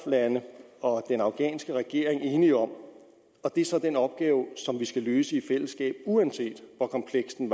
lande og den afghanske regering enig om det er så den opgave vi skal løse i fællesskab uanset hvor kompleks den